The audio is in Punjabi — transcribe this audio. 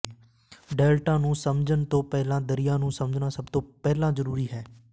ਡੈਲਟਾ ਨੂੰ ਸਮਝਣ ਤੋਂ ਪਹਿਲਾਂ ਦਰਿਆ ਨੂੰ ਸਮਝਣਾ ਸਭ ਤੋਂ ਪਹਿਲਾਂ ਜ਼ਰੂਰੀ ਹੈ